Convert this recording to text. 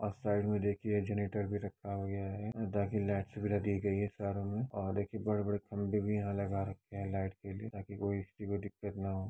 अ side मे देखिए generator भी रखा गया है और बाकी लाइट भी और देखिए बड़े बड़े खंबे भी यहाँ लगा रखे है लाइट के लिए ताकि कोई किसी को दिक्कत न हो |